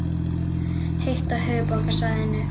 Heitt á höfuðborgarsvæðinu